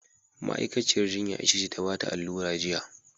Ma'aikaciyar jinya ita ce ta bata allura jiya